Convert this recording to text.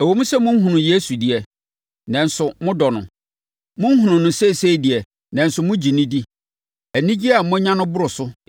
Ɛwom sɛ monhunuu Yesu deɛ, nanso modɔ no. Monhunu no seesei deɛ, nanso mogye no di. Anigyeɛ a moanya no boro so